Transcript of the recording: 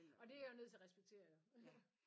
Og det er jeg jo nødt til at respektere jo